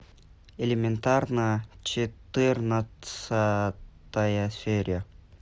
элементарно четырнадцатая серия